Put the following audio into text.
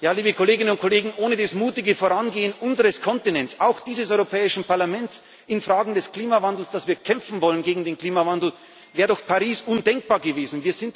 Paris. Liebe Kolleginnen und Kollegen, ohne das mutige Vorangehen unseres Kontinents, auch dieses Europäischen Parlaments, in Fragen des Klimawandels, dass wir kämpfen wollen gegen den Klimawandel, wäre doch Paris undenkbar gewesen.